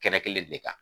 Kɛnɛ kelen de kan